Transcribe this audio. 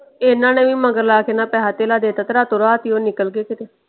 ਇਹਨਾ ਨੇ ਵੀ ਮਗਰ ਲੈ ਕੇ ਨਾ ਪੈਸਾ ਥੇਲਾ ਦੇ ਤਾ ਤੇ ਰਾਤੋਂ ਰਾਤ ਹੀ ਉਹ ਨਿਕਲ ਗਏ ਕਿਤੇ।